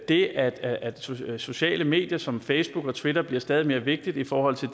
det at at sociale sociale medier som facebook og twitter bliver stadig mere vigtigt i forhold til